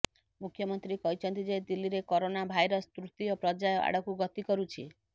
ମୁଖ୍ୟମନ୍ତ୍ରୀ କହିଛନ୍ତି ଯେ ଦିଲ୍ଲୀରେ କରୋନା ଭାଇରସ ତୃତୀୟ ପର୍ଯ୍ୟାୟ ଆଡକୁ ଗତି କରୁଛି